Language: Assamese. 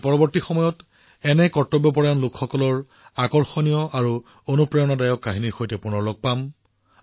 আমি পৰৱৰ্তী সময়ত এনে সমৰ্পিত লোকসকলৰ আকৰ্ষণীয় আৰু অনুপ্ৰেৰণাদায়ক কাহিনীৰ সৈতে পুনৰ লগ পাম